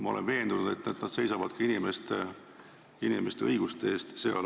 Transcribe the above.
Ma olen veendunud, et nad seisavad seal ka inimeste õiguste eest.